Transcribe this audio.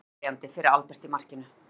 Óverjandi fyrir Albert í markinu.